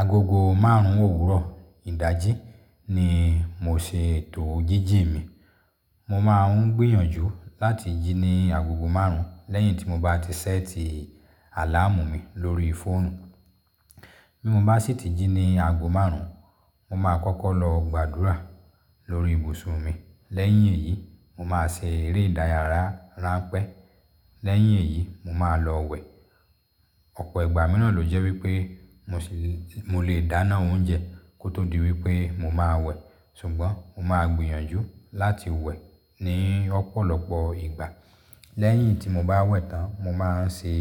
Agogo márùn-ún òwúrọ̀ ìdájí ni mo ṣe ètò jíjì mi. Mo máa ń gbìyànjú láti jí ni agogo márùn-ún lẹ́yìn tí mo bá ti ṣẹ́ẹ̀tì àláàmù mi lórí fóònù. Bí mo bá sì ti jí ni ago márùn-ún, mo máa kọ́kọ́ lọ gbàdúrà lórí ibùsùn mi. Lẹ́yìn èyí, mo máa ṣe eré ìdárayá ránpẹ́. Lẹ́yìn èyí, mo máa lọ wẹ̀. Ọ̀pọ̀ ìgbà míràn ló jẹ́ wípé mo lè dáná oúnjẹ kó tó di wípé mo máa wẹ̀, ṣùgbọ́n mo máa gbìyànjú láti wẹ̀ ní ọ̀pọ̀lọpọ̀ ìgbà. Lẹ́yìn tí mo bá wẹ̀ tán, mo máa ń ṣe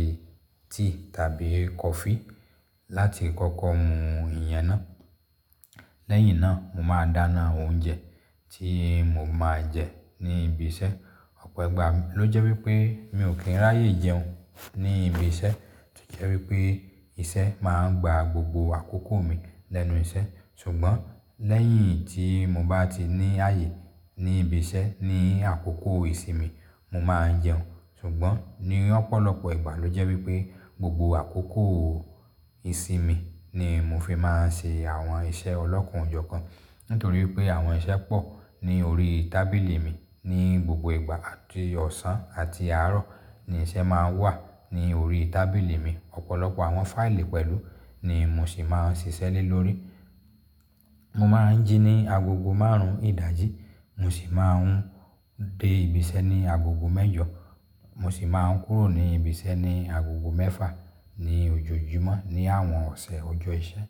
tíì tàbí kọfí láti kọ́kọ́ mú ìyẹn náà. Lẹ́yìn náà mo máa dáná oúnjẹ tí mo máa jẹ ní ibi iṣẹ́. Ọ̀pọ̀ ìgbà ló jẹ́ wípé mi ò kí ń ráyè jẹun ní ibi iṣẹ́. Tí ó jẹ́ wípé ìṣe máa ń gba gbogbo àkókò mi lẹ́nu iṣẹ́. Ṣùgbọ́n lẹ́yìn tí mo bá ti ní ààyè ní ibi iṣẹ́ ní àkókò ìsinmi, mo máa ń jẹun. Ṣùgbọ́n ní ọ̀pọ̀lọpọ̀ ìgbà ló jẹ́ wípé gbogbo àkókò ìsinmi ni mo fi máa ń ṣe àwọn iṣẹ́ ọlọ́kan ó jò kan nítorí pé àwọn iṣẹ́ pọ̀ ní orí tábìlì mi ní gbogbo ìgbà. Àti ọ̀sán àti àárọ̀ ni iṣẹ́ máa ń wà ní orí tábìlì mi. Ọ̀pọ̀lọpọ̀ àwọn fáìlì pẹ̀lú ni mo sì máa ń ṣiṣẹ́ lè lórí. Mo máa ń jí ní agogo márùn-ún ìdájí, mo sì máa ń dé ibi iṣẹ́ ní agogo mẹ́jọ. Mo sì máa ń kúrò ní ibi iṣẹ́ ní agogo mẹ́fà ní ojoojúmọ́ ní àwọn ọ̀sẹ̀ ọjọ́ iṣẹ́.